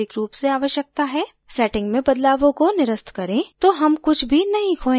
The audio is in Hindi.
settings में बदलावों को निरस्त करें तो हम कुछ भी नहीं खोयेंगे